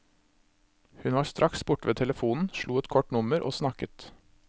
Hun var straks borte ved telefonen, slo et kort nummer og snakket.